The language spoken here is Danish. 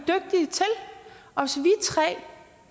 tre